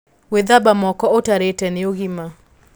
Gwĩthamba moko ũtarĩte nĩ ũgima